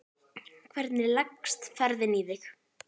Hvernig leggst ferðin í þig?